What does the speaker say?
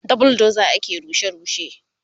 da buldoza ake rushe rushe